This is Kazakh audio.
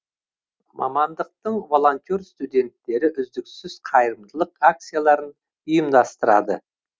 мамандықтың волонтер студенттері үздіксіз қайырымдылық акцияларын ұйымдастырады